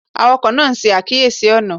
Awakọ naa n ṣe akiyesi ọna